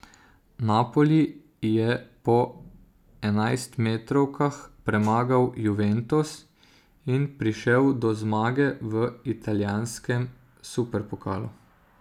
Napoli je po enajstmetrovkah premagal Juventus in prišel do zmage v italijanskem superpokalu.